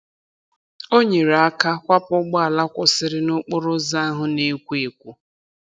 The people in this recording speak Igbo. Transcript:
O nyere aka kwapụ ụgbọala kwụsịrị n'okporoụzọ ahụ na-ekwo ekwo.